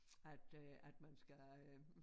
At øh at man skal øh